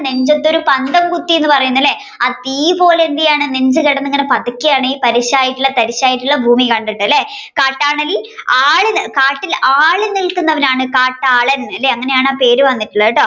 നെഞ്ചത്തൊരു പന്തം കുത്തി എന്ന് പറയുന്നത് അല്ലെ തീ പോലെയെന്താണ് ഈ നെഞ്ച് കിടന്ന് പാതക്കേയാണ് ഈ തരിശ്~തരിശായിട്ടുള്ള ഭൂമി കണ്ടിട്ട് അല്ലെ കാട്ടിൽ ആളി നിൽക്കുന്നവാനാണ് കാട്ടാളൻ അല്ലെ അങ്ങനെയാണ് ആ പേര് വന്നിട്ടുള്ളത്